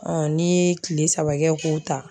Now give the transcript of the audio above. n'i ye tile saba kɛ k'o ta